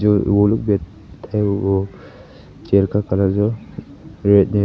वो चेयर का कलर जो है रेड है।